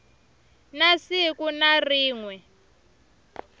na siku na rin we